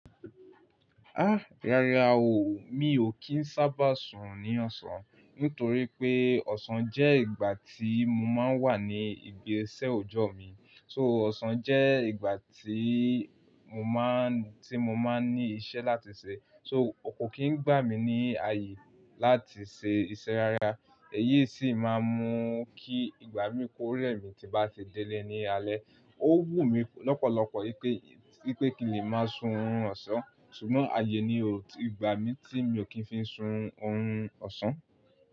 Há! Rárá o, mi ò kí ń sábà sùn ní ọ̀sán nítorí pé ọ̀sán jẹ́ ìgbà tí mo máa ń wà ní ibi iṣẹ́ òjọ́ mi. So ọ̀sán jẹ́ ìgbà tí mo máa ń, tí mo máa ń ní iṣẹ́ láti ṣe. So kò kí ń gbà mí ní ààyè láti ṣe iṣẹ́ rárá. Èyí sì máa ń mú kí ìgbà mi kó rẹ̀ mí tí bá ti délé ní alẹ́. Ó wù mí lọ́pọ̀lọpọ̀ pé, pé kín le màá sùnrun ọ̀sán, ṣùgbọ́n ààyè ni o gbà mi tí mi ò kí ń fi sùn orun ọ̀sán.